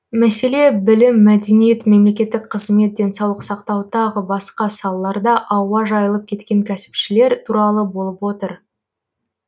мәселе білім мәдениет мемлекеттік қызмет денсаулық сақтау тағы басқа салаларда ауа жайылып кеткен кәсіпшілер туралы болып отыр